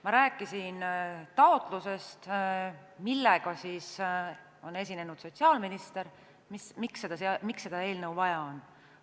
Ma rääkisin taotlusest, millega on esinenud sotsiaalminister, selle kohta, miks seda eelnõu vaja on.